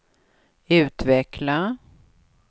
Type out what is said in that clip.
utveckla